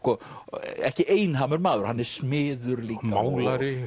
ekki maður hann er smiður líka